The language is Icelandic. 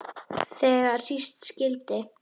Þegar síst skyldi.